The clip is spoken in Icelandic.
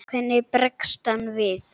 Hvernig bregst hann við?